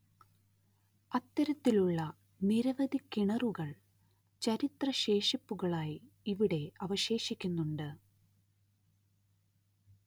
അത്തരത്തിലുള്ള നിരവധി കിണറുകൾ ചരിത്ര ശേഷിപ്പുകളായി ഇവിടെ അവശേഷിക്കുന്നുണ്ട്